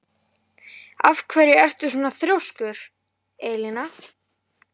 Af hverju ertu svona þrjóskur, Elina?